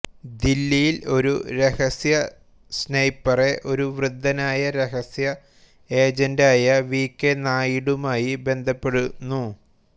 ദില്ലിയിൽ ഒരു രഹസ്യ സ്നൈപ്പറെ ഒരു വൃദ്ധനായ രഹസ്യ ഏജന്റായ വി കെ നായിഡുമായി ബന്ധപ്പെടുന്നു